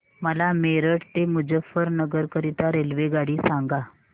मला मेरठ ते मुजफ्फरनगर करीता रेल्वेगाडी सांगा